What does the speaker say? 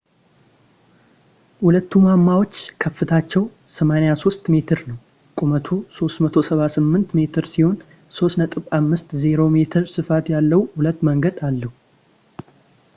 ሁለቱ ማማዎች ከፍታቸው 83 ሜትር ነው ቁመቱ 378 ሜትር ሲሆን 3.50 ሜትር ስፋት ያለው ሁለት መንገድ አለው